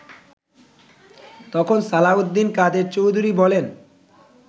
তখন সালাহউদ্দিন কাদের চৌধুরী বলেন